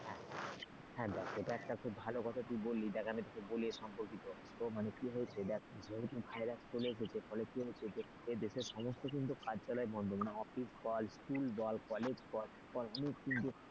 হ্যাঁ দেখ এটা একটা তুই ভালো কথা বললি দেখ আমি তোকে বলি এ সম্পর্কিত মানে কি হয়েছে দেখ যেহেতু virus চলে এসেছে যে ফলে, কি হয়েছে দেশে সমস্ত কিন্তু কার্যালয় বন্ধ মানে office বল school বল college বল অনেক কিন্তু,